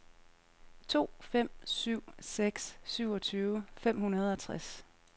to fem syv seks syvogtyve fem hundrede og tres